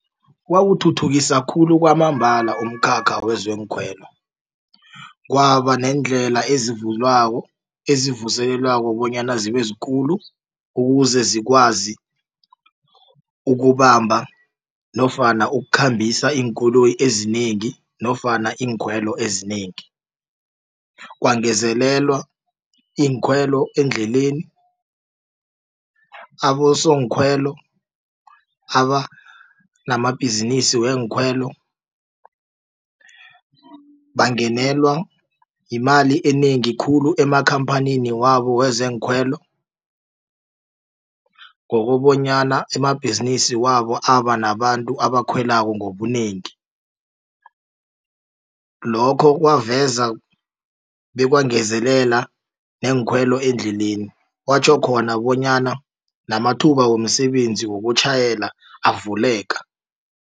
Kwawuthuthukisa khulu kwamambala umkhakha wezeneenkhwelo kwaba neendlela ezivulwako ezivuselelwako bonyana zibe zikulu ukuze zikwazi ukubamba nofana ukukhambisa iinkoloyi ezinengi nofana iinkhwelo ezinengi. Kwangezelelwa iinkhwelo eendleleni abosonkhwelo abanamabhizinisi weenkhwelo bangenelwa yimali enengi khulu amakhamphani wabo wezeenkhwelo ngokobanyana amabhizinisi wabo aba nabantu abakhwelako ngobunengi. Lokho kwaveza bekwangezelela neenkhwelo endleleni kwatjho khona bonyana namathuba womsebenzi wokutjhayela avuleka.